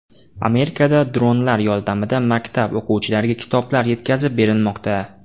Amerikada dronlar yordamida maktab o‘quvchilariga kitoblar yetkazib berilmoqda .